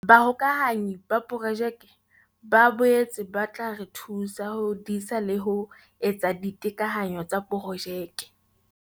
Bahokahanyi ba Projeke ba boetse ba tla re thusa ho disa le ho etsa ditekanyo tsa projeke.